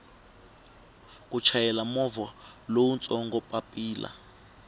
ku chayela movha lowutsongo papilla